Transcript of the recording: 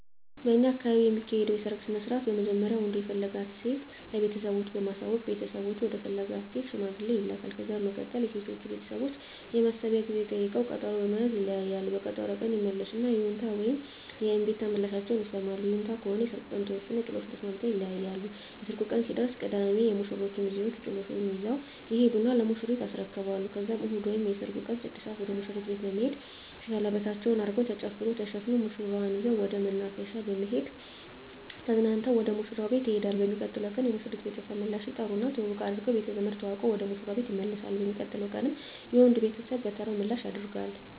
በእኛ አካባቢ የሚካሄደዉ የሰርግ ስነስርአት በመጀመሪያ ወንዱ የፈለጋትን ሴት ለቤተሰቦቹ በማሳወቅ ቤተሰቦቹ ወደ ፈለጋት ሴት ሽማግሌ ይላካል። ከዛ በመቀጠል የሴቶቹ ቤተሰቦች የማሰቢያ ጊዜ ጠይቀዉ ቀጠሮ በመያዝ ይለያያሉ። በቀጠሮዉ ቀን ይመለሱና የይሁንታ ወይም የእምቢታ ምላሻቸዉን ይሰማሉ። ይሁንታ ከሆነ የሰርጉ ቀን ተወስኖ ጥሎሹን ተስማምተዉ ይለያያሉ። የሰርጉ ቀን ሲደርስ ቅዳሜ የሙሽሮቹ ሚዜወች ጥሎሹን ይዘዉ ይሄዱና ለሙሽሪት ያስረክባሉ ከዛም እሁድ ወይም የሰርጉ ቀን 6 ሰአት ወደ ሙሽሪት ቤት በመሄድ ሸለበታቸዉን አድርገዉ ተጨፍሮ ተዘፍኖ ሙሽራዋን ይዘዉ ወደ መናፈሻ በመሄድ ተዝናንተዉ ወደ ሙሽራዉ ቤት ይሄዳሉ። በሚቀጥለዉ ቀን የሙሽሪት ቤተሰብ ምላሽ ይጠሩና ትዉዉቅ አድርገዉ ቤተዘመድ ተዋዉቀዉ ወደ ሙሽራዉ ቤት ይመለሳሉ። በሚቀጥለዉ ቀንም የወንዱ ቤተሰብ በተራዉ ምላሽ ያደ